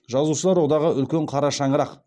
жазушылар одағы үлкен қара шаңырақ